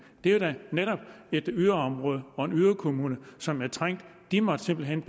er da netop et yderområde og en yderkommune som er trængt de måtte simpelt hen